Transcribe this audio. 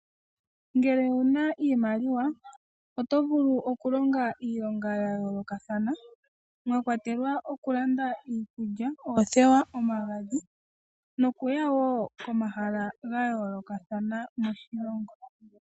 Ngele owuna iimaliwa oto vulu okulonga iilonga yayoolokathana mwakwatelwa okulanda iikulya, oothewa, omagadhi nokuya komahala gayoolokathana moshilongo.